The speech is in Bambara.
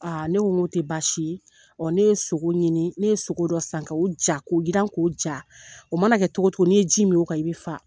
ne ko n ko tɛ baasi ye, ne ye sogo ɲini, ne ye sogo dɔ san, k'o ja, k'o yiran k'o ja, o mana kɛ togo o togo, ni ye ji min o kan i bi fa.